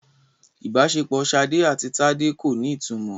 Ìbáṣepọ̀ Ṣadé àti Tádé kò ní ìtumọ̀.